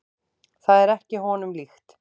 Það er ekki honum líkt.